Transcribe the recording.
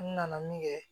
N nana min kɛ